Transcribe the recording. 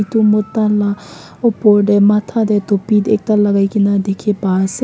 etu mota laa opor te matha te topi ekta lagaikena dikhi pai ase.